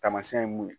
Taamasiyɛn ye mun ye